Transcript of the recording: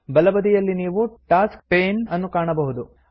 ಬಲಬದಿಯಲ್ಲಿ ನೀವು tasks pane ನ್ನು ಕಾಣಬಹುದು